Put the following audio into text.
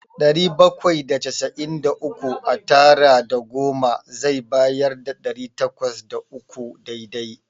Ɗari bakwai da casa'in da uku a tara da goma zai bayar da ɗari takwas da uku dai-dai.